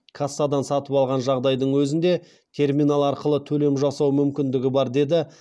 кассадан сатып алған жағдайдың өзінде терминал арқылы төлем жасау мүмкіндігі бар деді